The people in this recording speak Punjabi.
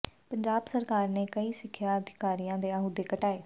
ਪੰਜਾਬ ਸਰਕਾਰ ਨੇ ਕਈ ਸਿੱਖਿਆ ਅਧਿਕਾਰੀਆਂ ਦੇ ਅਹੁਦੇ ਘਟਾਏ